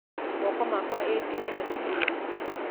Moko makwa ĩ ti manene mũno?